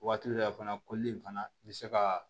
Waati dɔ la fana koli in fana i bɛ se ka